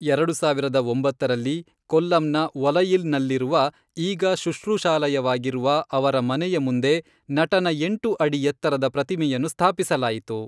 ಎರಡು ಸಾವಿರದ ಒಂಬತ್ತರಲ್ಲಿ, ಕೊಲ್ಲಂನ ಒಲಯಿಲ್ನಲ್ಲಿರುವ, ಈಗ ಶುಶ್ರೂಷಾಲಯವಾಗಿರುವ ಅವರ ಮನೆಯ ಮುಂದೆ ನಟನ ಎಂಟು ಅಡಿ ಎತ್ತರದ ಪ್ರತಿಮೆಯನ್ನು ಸ್ಥಾಪಿಸಲಾಯಿತು.